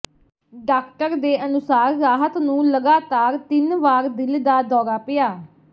doctor ਦੇ ਅਨੁਸਾਰ ਰਾਹਤ ਨੂੰ ਲਗਾਤਾਰ ਤਿੰਨ ਵਾਰ ਦਿਲ ਦਾ ਦੌਰਾ ਪਿਆ